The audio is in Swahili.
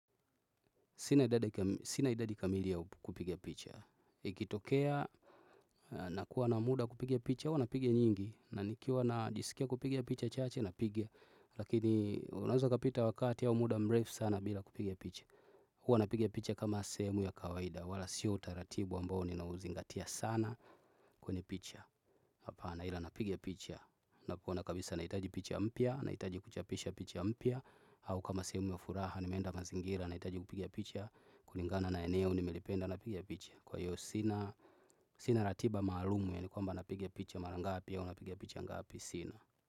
Sina idadi kamili ya kupiga picha. Ikitokea nakuwa na muda wa kupiga picha huwa napiga nyingi. Na nikiwa najisikia kupiga picha chache napiga. Lakini unaeza ukapita wakati au muda mrefu sana bila kupiga picha. Huwa napiga picha kama sehemu ya kawaida wala siyo utaratibu ambao ninauzingatia sana kwenye picha. Hapana ila napiga picha. Nakuwa na kabisa naitaji picha mpya naitaji kuchapisha picha mpya. Au kama sehemu ya furaha nimeenda mazingira nahitaji kupiga picha kulingana na eneo nimelipenda napiga picha. Kwa hiyo sina ratiba maalumu yaani kwamba napiga picha mara ngapi au napiga picha ngapi sina.